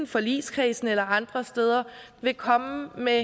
forligskredsen eller andre steder vil komme med